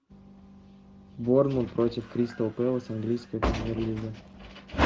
борнмут против кристал пелес английская премьер лига